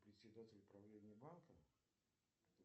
председатель правления банка